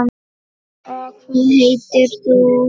Og hvað heitir þú?